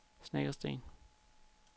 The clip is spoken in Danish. Snekkersten